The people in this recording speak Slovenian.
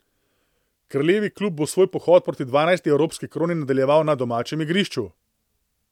Kraljevi klub bo svoj pohod proti dvanajsti evropski kroni nadaljeval na domačem igrišču.